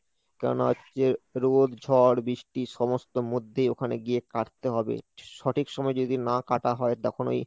কারণ হচ্ছে রোদ, ঝড়, বৃষ্টি সমস্ত মধ্যেই ওখানে গিয়ে কাটতে হবে সঠিক সময় যদি না কাটা হয় তখন ওই